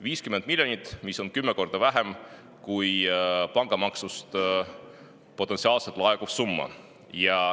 50 miljonit on 10 korda vähem kui pangamaksust potentsiaalselt laekuv summa.